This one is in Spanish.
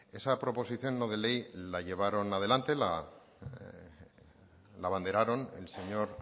esa proposición no de ley la abanderaron el señor